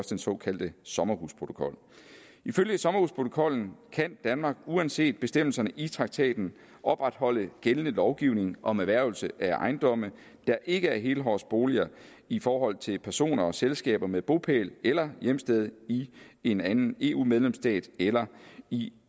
den såkaldte sommerhusprotokol ifølge sommerhusprotokollen kan danmark uanset bestemmelserne i traktaten opretholde gældende lovgivning om erhvervelse af ejendomme der ikke er helårsboliger i forhold til personer og selskaber med bopæl eller hjemsted i en anden eu medlemsstat eller i